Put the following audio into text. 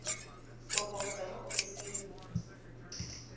kopo go tswa mo ofising